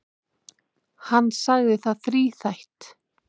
Hann sagði það þríþætt.